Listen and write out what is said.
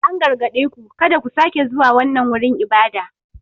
An gargaɗe ku "kada ku sake zuwa wannan wurin ibada!"